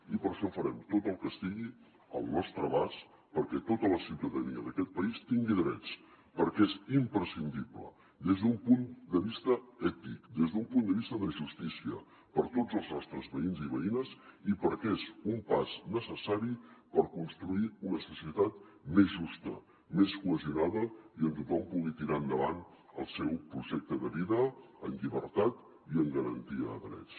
i per això farem tot el que estigui al nostre abast perquè tota la ciutadania d’aquest país tingui drets perquè és imprescindible des d’un punt de vista ètic des d’un punt de vista de justícia per a tots els nostres veïns i veïnes i perquè és un pas necessari per construir una societat més justa més cohesionada i on tothom pugui tirar endavant el seu projecte de vida en llibertat i en garantia de drets